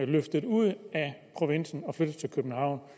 løftet ud af provinsen og flyttet til københavn